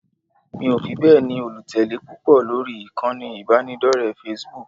Mi ò fi bẹ́ẹ̀ ni olùtẹ̀lé púpọ̀ lórí ìkànnì ìbánidọ́rẹ̀ẹ́ Facebook